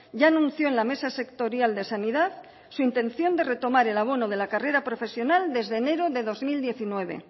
ya anunció en la mesa sectorial de sanidad su intención de retomar el abono de la carrera profesional desde enero del dos mil diecinueve